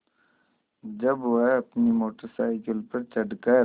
जब वह अपनी मोटर साइकिल पर चढ़ कर